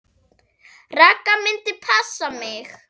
Ragga myndi passa mig.